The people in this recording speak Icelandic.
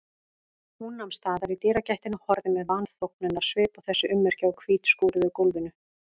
Hún nam staðar í dyragættinni og horfði með vanþóknunarsvip á þessi ummerki á hvítskúruðu gólfinu.